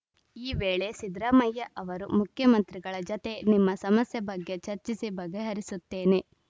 ಈ ವೇಳೆ ಸಿದ್ದರಾಮಯ್ಯ ಅವರು ಮುಖ್ಯಮಂತ್ರಿಗಳ ಜತೆ ನಿಮ್ಮ ಸಮಸ್ಯೆ ಬಗ್ಗೆ ಚರ್ಚಿಸಿ ಬಗೆಹರಿಸುತ್ತೇನೆ